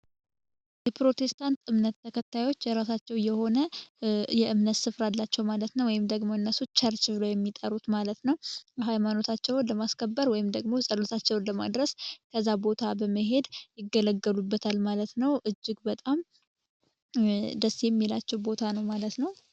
የፕሮቴስታንት እምነት ተከታዮች የራሳቸው የሆነ የእምነት ስፍራ አላቸው ማለት ነው ወይም ደግሞ ቸርች ብለው የሚጠሩት ማለት ነው ሀይማኖታቸውን ለማስከበር ወይም ደግሞ ጸሎታቸውን ለማድረስ ወደዛ ቦታ በመሄድ ይገለገሉበታል ማለት ነው እጅግ በጣም ደስ የሚላቸው ቦታ ነው ማለት ነው።